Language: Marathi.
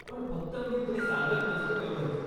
पण फक्त मी ते सांगत नसतो, एवढंच.